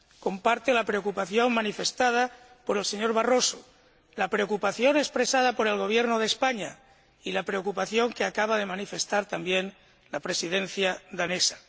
Comparte la preocupación manifestada por el señor Barroso, la preocupación expresada por el Gobierno de España y la preocupación que acaba de manifestar también la Presidencia danesa.